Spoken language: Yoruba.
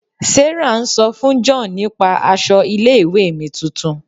Sarah ń sọ fún John nípa aṣọ ilé ìwé mi tuntun.